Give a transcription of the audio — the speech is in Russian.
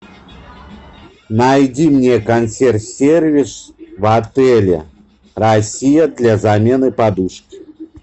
найди мне консьерж сервис в отеле россия для замены подушки